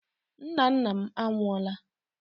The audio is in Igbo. Nna nna m anwụọla.